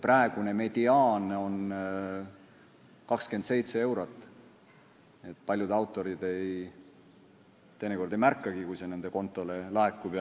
Praegune mediaan on 27 eurot, nii et paljud autorid teinekord ei märkagi, kui see nende kontole laekub.